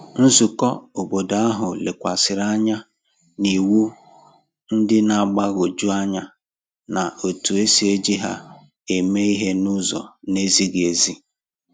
Nzùkọ̀ óbọ̀dò ahu lekwàsịrị anya n’iwu ndị na-agbagwoju anya na etu e si eji ha eme ihe n’ụzọ na-ezighị ezi